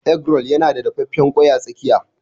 Egg roll yana da dafaffen ƙwai a tsakiya.